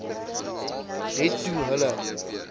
het toe hulle